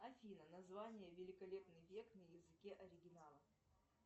афина название великолепный век на языке оригинала